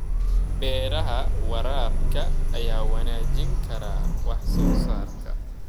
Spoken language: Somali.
Beeraha waraabka ayaa wanaajin kara wax soo saarka.